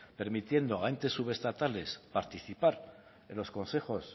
permitiendo a entes subestatales participar en los consejos